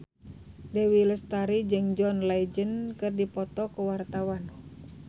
Dewi Lestari jeung John Legend keur dipoto ku wartawan